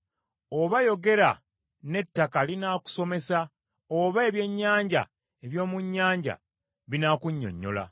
Oba yogera n’ettaka linaakusomesa oba ebyennyanja eby’omu nnyanja binaakunnyonnyola.